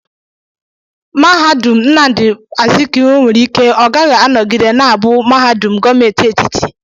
Mahadum Nnamdi Azikiwe nwere ike ọ gaghị anọgide na-abụ mahadum gọọmenti etiti.